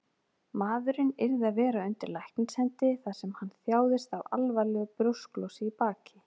Maðurinn yrði að vera undir læknishendi, þar sem hann þjáðist af alvarlegu brjósklosi í baki.